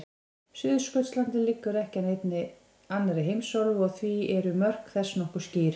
Suðurskautslandið liggur ekki að neinni annarri heimsálfu og því eru mörk þess nokkuð skýr.